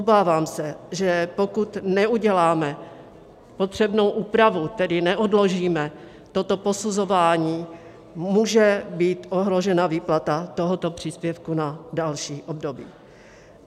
Obávám se, že pokud neuděláme potřebnou úpravu, tedy neodložíme toto posuzování, může být ohrožena výplata tohoto příspěvku na další období.